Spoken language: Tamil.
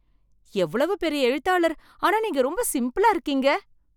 எவ்வளவு பெரிய எழுத்தாளர் ஆனா நீங்க ரொம்ப சிம்பிளா இருக்கீங்க.